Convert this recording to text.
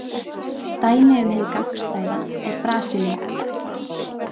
Dæmi um hið gagnstæða er Brasilía.